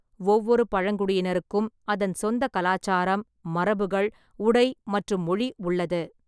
ஒவ்வொரு பழங்குடியினருக்கும் அதன் சொந்த கலாச்சாரம், மரபுகள், உடை மற்றும் மொழி உள்ளது.